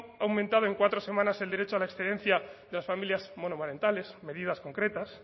ha aumentado en cuatro semanas el derecho a la excedencia de las familias monoparentales medidas concretas